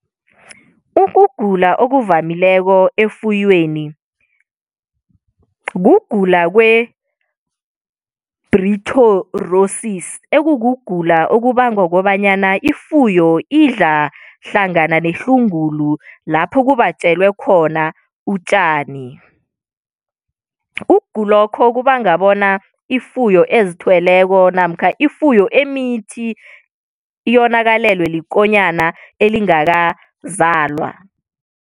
Ukugula okuvamileko efuyweni, kugula kwe-brucellosis ekukugula okubangwa kobanyana ifuyo idla hlangana nehlungulu, lapho kubatjelwe khona utjani. Ukugula lokho kubanga bona ifuyo ezithweleko namkha ifuyo emithi yonakalelwe likonyana elingakazalwa.